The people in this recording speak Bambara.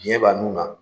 Biɲɛ ba nun na